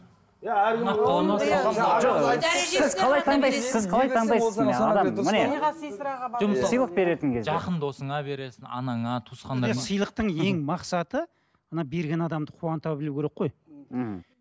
жақын досыңа бересің анаңа туысқандарыңа сыйлықтың ең мақсаты мына берген адамды қуанта білу керек қой ммм